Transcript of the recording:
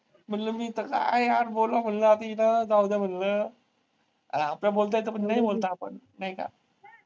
म्हंटलं मी इथं काय यार बोलणं म्हंटलं आधी हिचं जाऊदे म्हंटलं अरे आपल्याला बोलता येतं पण नाही बोलत आपण. नाही का?